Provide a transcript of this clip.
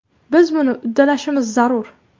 Biz buni uddalashimiz zarur.